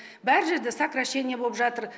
бар жерде сокращение боп жатыр